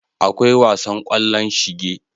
Akwai wasan kwallon shinge.